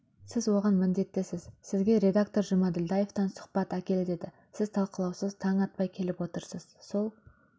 сіз оған міндеттісіз сізге редактор жұмаділдаевтан сұхбат әкел деді сіз талқылаусыз таң атпай келіп отырсыз сол